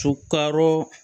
Sukaro